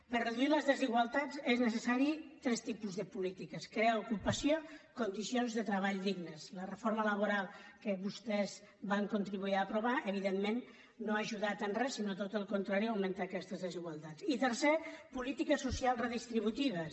per reduir les desigualtats són necessaris tres tipus de polítiques crear ocupació condicions de treball dignes la reforma laboral que vostès van contribuir a aprovar evidentment no ha ajudat en res sinó tot al contrari a augmentar aquestes des igualtats i tercer polítiques socials redistributives